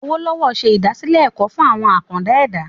Awolowo se ìdásílẹ̀ ẹ̀kọ́ fún àwọn “àkàndá ẹ̀dá ".